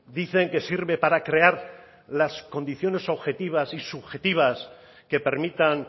dicen que sirve para crear las condiciones objetivas y subjetivas que permitan